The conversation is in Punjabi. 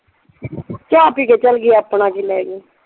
ਚਾਹ ਪੀ ਕੇ ਚਲੀ ਗਈ ਆਪਣਾ ਕੀ ਲੈ ਗਈ?